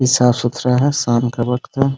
ये साफ़-सुथरा है शाम का वक्त है ।